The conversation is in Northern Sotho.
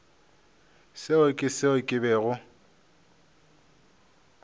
seo ke seo ke bego